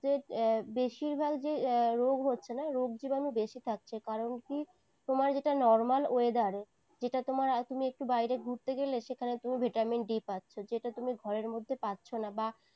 যে বেশিরভাগ যে রোগ হচ্ছে না, রোগ জীবাণু বেশি থাকছে। কারণ কি তোমার যেটা normal weather যেটা তোমার তুমি একটু বাইরে ঘুরতে গেলে সেখানে তুমি vitamin d পাচ্ছো। যেটা তুমি ঘরের মধ্যে পাচ্ছো না, বা